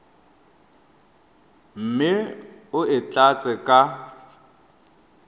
mme o e tlatse ka